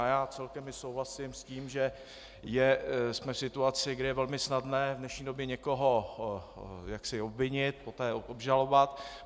A já celkem i souhlasím s tím, že jsme v situaci, kdy je velmi snadné v dnešní době někoho obvinit, poté obžalovat.